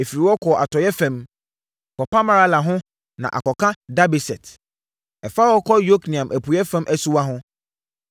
Ɛfiri hɔ kɔ atɔeɛ fam, kɔpa Marala ho na akɔka Dabeset. Ɛfa hɔ kɔ Yokneam apueeɛ fam asuwa ho.